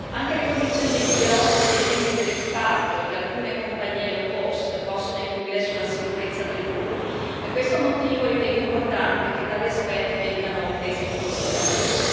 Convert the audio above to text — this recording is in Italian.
Anche le condizioni dei piloti e dei membri dell'equipaggio di alcune compagnie low cost possono influire sulla sicurezza del volo e per questo motivo ritengo importante che tali aspetti vengano presi in considerazione.